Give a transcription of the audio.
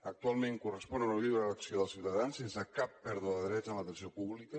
actualment correspon a la lliure elecció dels ciutadans sense cap pèrdua de drets en l’atenció pública